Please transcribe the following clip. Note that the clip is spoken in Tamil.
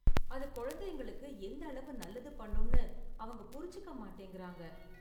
அது கொழந்தைங்களுக்கு எந்த அளவு நல்லது பண்ணும்னு அவங்க புரிஞ்சிக்க மாட்டேங்கிறாங்க.